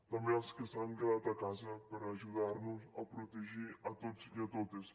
també els que s’han quedat a casa per ajudar nos a protegir a tots i a totes